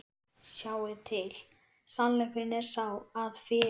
Sjáiði til, sannleikurinn er sá, að fyrir